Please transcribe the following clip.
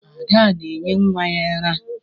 Ada na-enye nwa ara.